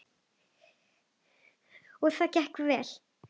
Og það gekk vel.